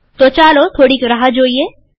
તો ચાલો થોડીક રાહ જોઈએ